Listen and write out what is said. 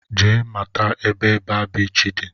Jee mata ebe baa biichi dị!